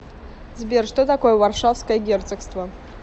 сбер что такое варшавское герцогство